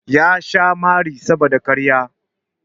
Ya sha mari saboda ƙarya.